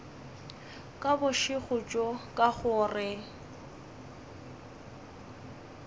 ka bošego bjo ka gore